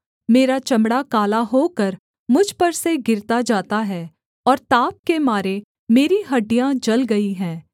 मेरा चमड़ा काला होकर मुझ पर से गिरता जाता है और ताप के मारे मेरी हड्डियाँ जल गई हैं